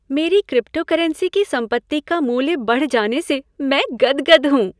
मेरी क्रिप्टोकरेंसी की सम्पत्ति का मूल्य बढ़ जाने से मैं गद्गद हूँ।